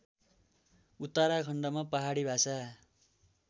उत्तराखण्डमा पाहडी भाषा